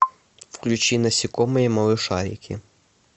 включи насекомые малышарики